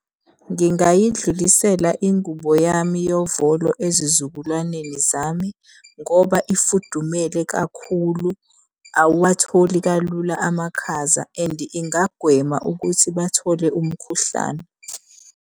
Ngingayidlulisela ingubo yami yovolo ezizukulwaneni zami, ngoba ifudumele kakhulu, awuwatholi kalula amakhaza and ingagwema ukuthi bathole umkhuhlane.